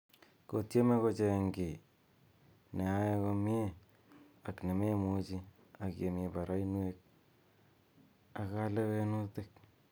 Kotieme koch'eng ki ne ae komnye , ak nememuchi , ak yemii barainwek ak kalewenutik.